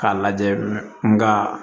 K'a lajɛ nga